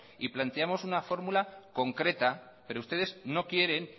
y planteamos una fórmula concreta pero ustedes no quieren